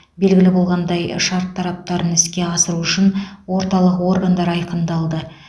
белгілі болғандай шарт талаптарын іске асыру үшін орталық органдар айқындалды